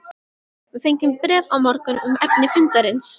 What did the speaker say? Við fengjum bréf á morgun um efni fundarins.